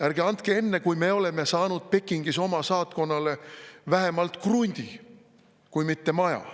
Ärge andke enne, kui me oleme saanud Pekingis oma saatkonnale vähemalt krundi kui mitte maja.